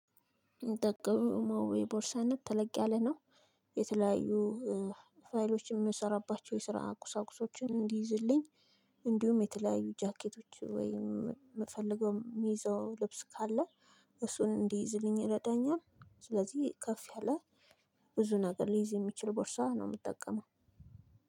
የምጠቀመው ማዌ ቦርሳ ነው ተለቅ ያለ ነው። የተለያዩ ፋይሎች የምንሰራባቸው የስራ ቁሳቁሶችን እንዲይዝልኝ። እንዲሁም የተለያዩ ጃኬቶች ወይም የምፈልገው የሚይዘው ልብስ ካለ እሱን እንዲይዝልኝ ይረዳኛል። ስለዚህ ከፍ ያለ ብዙ ነገር ሊይዝ የሚችል ቦርሳ ነው የምጠቀመው።